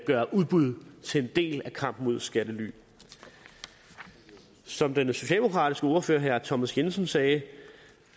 gøre udbud til en del af kampen mod skattely som den socialdemokratiske ordfører herre thomas jensen sagde